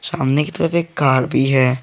सामने की तरफ एक कार भी है।